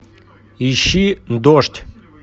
ищи дождь